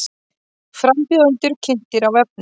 Frambjóðendur kynntir á vefnum